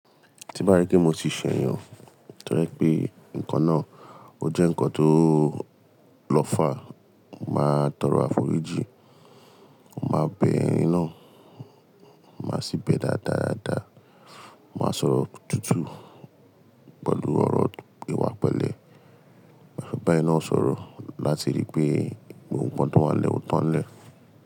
Tí bá rí pé mo ti ṣẹ̀yàn toje pé nǹkan náà ó jẹ́ nǹkan tó lọ́fà, màá tọrọ àforíjì, màá bẹ ẹni náà, màá sì bẹ dáadáa, màá sọ̀rọ̀ tútù pẹ̀lú ọ̀rọ̀ ìwà pẹ̀lẹ́. Maa bá ẹni náà sọ̀rọ̀ láti rí pé gbogbo nkan tó wà nlẹ̀ ó tán nlẹ́.